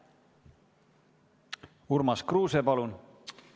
Urmas Kruuse, palun!